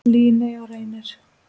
Líney og Reynir.